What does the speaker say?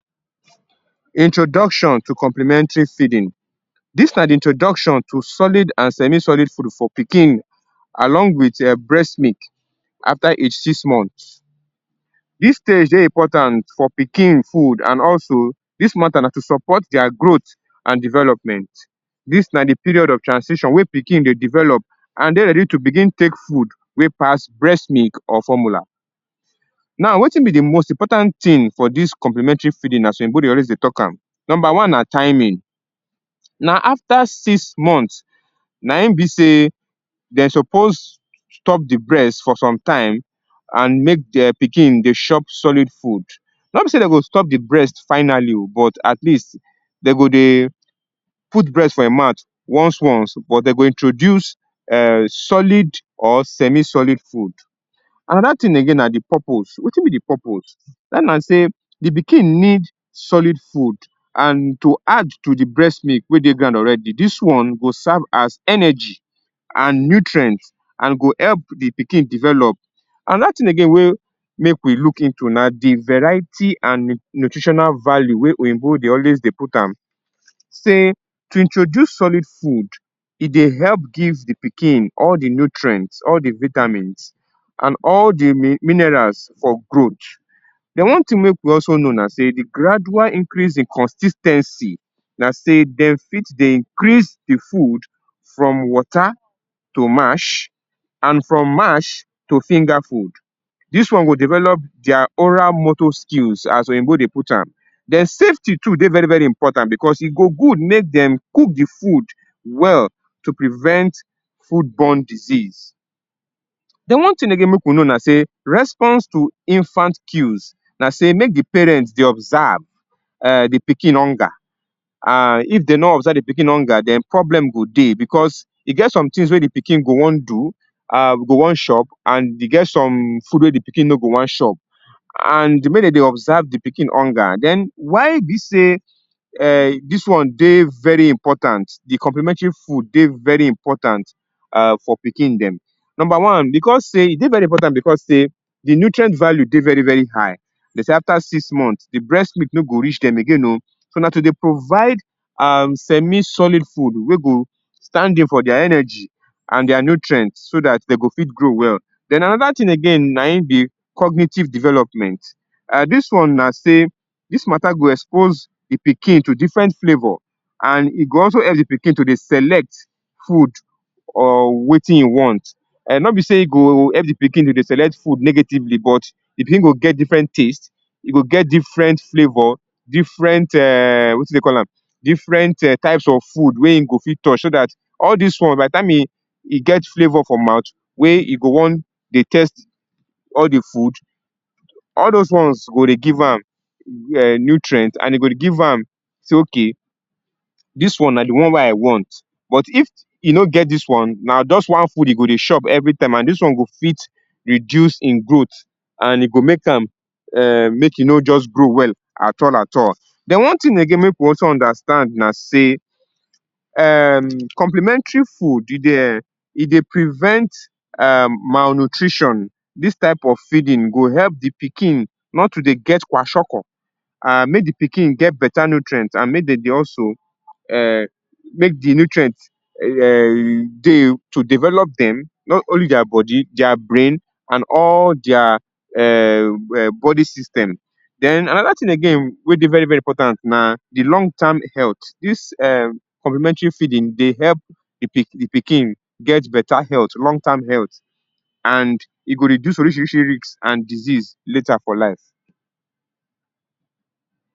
Introduction to complementary feeding. Dis na di introduction to solid and semi-solid food for pikin along wit um breast milk, after age six months. Dis stage dey important for pikin food and also dis mata na to support dia growth and development. Dis na di period of transition wey pikin dey develop and dey ready to begin take food wey pass breast milk or formula. Now, wetin be di most important tin for dis complementary feeding na so oyinbo dey always dey talk am. Number one na timing. Na after six months, na im be sey den suppose stop di breast for some time and make um pikin dey chop solid food. No be sey den go stop di breast finally o but at least den go dey put breast for im mouth once once but den go introduce um solid or semi-solid food. Anoda tin again na di purpose. Wetin be di purpose? Dat na sey, di pikin need solid food and to add to di breast milk wey dey ground already, dis one go serve as energy and nutrient and go help di pikin develop. Anoda tin again wey make we look into na di variety and nutritional value wey oyinbo dey always dey put am sey to introduce solid food, e dey help give di pikin all di nutrients, all di vitamins and all di mi minerals for growth. Den, one tin make we also know na sey, di gradual increase in consis ten cy na sey dem fit dey increase di food from water to mash and from mash to finger food. Dis one go develop dia oral moto skills as oyinbo dey put am. Den safety too dey very very important bcos e go good make dem cook di food well to prevent food borne disease. Den one tin again make we know na sey, response to infant kuise na sey make di parent dey observe um di pikin hunger um if den nor observe di pikin hunger den problem go dey, because e get sometins wey di pikin go wan do, um go wan chop and e get some food wey di pikin no go wan chop and mey den dey observe di pikin hunger. Den, why e be sey um dis one dey very important, di complementary food dey very important um for pikin dem. Number one, because sey, e dey very important because sey di nutrient value dey very very high. Den sey after six months di breast milk no go reach dem again o, so na to dey provide um semi-solid food wey go stand in for dia energy and dia nutrient so dat den go fit grow well. Den, anoda tin again, naim be cognitive development. Um dis one na sey, dis mata go expose di pikin to different flavor and e go also help di pikin to dey select food or wetin e want. Um nor be sey e go help di pikin to dey select food negatively but di pikin go get different taste, e go get different flavor, different um wetin dey call am, different um types of food wey im go fit touch so dat, all dis one by di time im, im get flavor for mouth, wey e go wan dey test all di food, all dose ones go dey give am um nutrient and e go dey give am sey ok, dis one na di one wey I want. But if e no get dis one, na just one food e go dey chop every time and dis one go fit reduce im growth, and e go make am um make e no just grow well at all at all. Den, one tin again make we also understand na sey, um complementary food, e dey um, e dey prevent um malnutrition. Dis type of feeding go help di pikin nor to dey get kwashiorkor and mey di pikin get beta nutrient and mey den dey also um make di nutrient um dey to develop dem nor only dia body, dia brain, and all dia um um body system. Den, anoda tin again wey dey very very important na di long term health. Dis um complementary feeding dey help di pikin get beta health, long term health and e go reduce orishirishi risk and disease later for life.